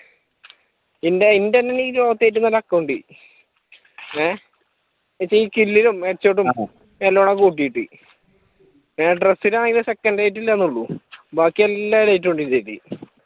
എന്റെ ഒരു account ഏഹ് എന്നുവെച്ചാ ഈ സ്‌കില്ലിലും എല്ലാം കൂടെ കൂട്ടീട്ട് പിന്നെ ഡ്രസ്സിലാണെങ്കിലും second elite ഇല്ലന്നെ ഒള്ളു ബാക്കി എല്ലാ എലൈറ്റും ഉണ്ട് ഇതിലേക്ക്